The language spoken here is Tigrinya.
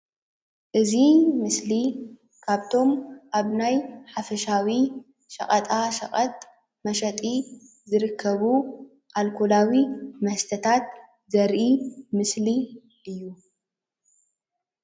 አዚ ምስሊ ካብቶም ኣብ ናይ ሓፈሻዊ ሸቐጣ ሸቐጥ መሸጢ ዝርከቡ ኣልኮላዊ መስተታት ዘርኢ ምስሊ እዩ።